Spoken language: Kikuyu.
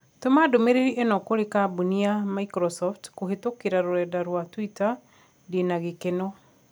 Tũma ndũmīrīri īno kũrī kambũni ya Microsoft kũhītũkīra rũrenda rũa tũita ndīnagikeno